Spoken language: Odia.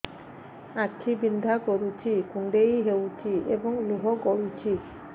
ଆଖି ବିନ୍ଧା କରୁଛି କୁଣ୍ଡେଇ ହେଉଛି ଏବଂ ଲୁହ ଗଳୁଛି